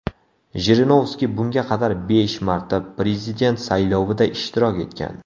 Jirinovskiy bunga qadar besh marta prezident saylovida ishtirok etgan.